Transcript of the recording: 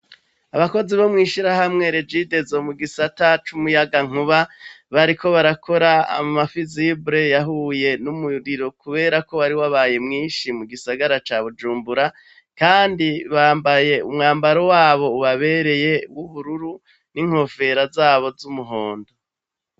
Abakozi bo mw'ishirahamwe Regidezo mu gisata c'umuyaga nkuba bariko barakora amafizibure yahuye n'umuriro kuberako wari wabaye mwishi mu gisagara ca Bujumbura, kandi bambaye umwambaro wabo ubabereye w'ubururu n'inkofero zabo z'umuhondo.